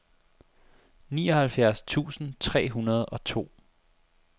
nioghalvfjerds tusind tre hundrede og to